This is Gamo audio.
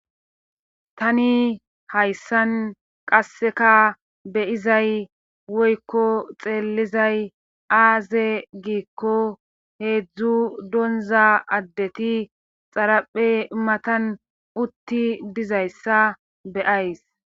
tani hayssan qasseka beyizay woykko xeellizay aaze giikko heedzdzu donza addeti xaraphe matan utti dizayssa beyays